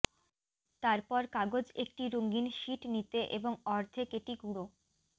তারপর কাগজ একটি রঙিন শীট নিতে এবং অর্ধেক এটি গুঁড়ো